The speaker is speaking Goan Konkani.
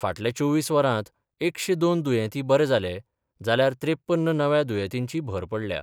फाटल्या चोवीस वरांत एकशें दोन दुयेंती बरे जाले, जाल्यार त्रेपन्न नव्या दुर्येतींची भर पडल्या.